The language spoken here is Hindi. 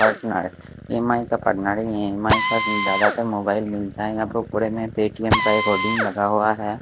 काटना है ई_एम_आई का ई_एम_आई का सिम जादातर मोबाईल मिलता है यहाँ पर पूरे में एक पे टीएम का एक होल्डिंग लगा हुआ है।